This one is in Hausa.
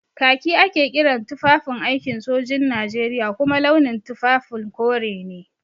Kaki ake kiran tufafin aikin sojin Najeriya kuma launin tufafin kore ne.